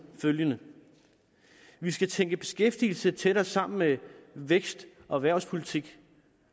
følgende vi skal tænke beskæftigelse tættere sammen med vækst og erhvervspolitik